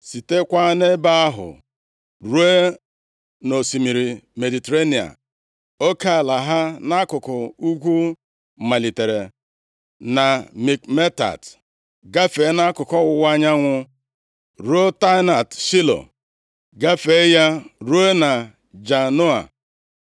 sitekwa nʼebe ahụ ruo nʼosimiri Mediterenịa. Oke ala ha nʼakụkụ ugwu malitere na Mikmetat, gafee nʼakụkụ ọwụwa anyanwụ ruo Taanat Shaịlo, gafee ya ruo na Janoa.